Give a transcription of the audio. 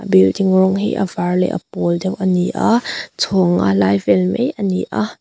building rawng hi a vâr leh a pâwl deuh a ni a chhawng nga lai vêl mai a ni a.